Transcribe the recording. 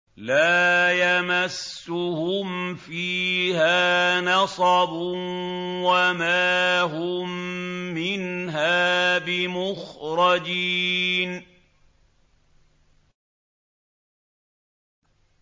لَا يَمَسُّهُمْ فِيهَا نَصَبٌ وَمَا هُم مِّنْهَا بِمُخْرَجِينَ